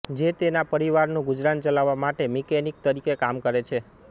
જે તેના પરિવારનું ગુજરાન ચલાવવા માટે મિકેનિક તરીકે કામ કરે છે